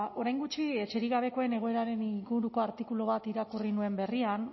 orain gutxi etxerik gabekoen egoeraren inguruko artikulu bat irakurri nuen berrian